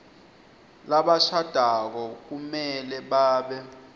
labashadako kumele babe